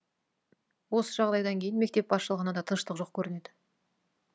осы жағдайдан кейін мектеп басшылығына да тыныштық жоқ көрінеді